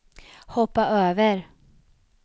hoppa över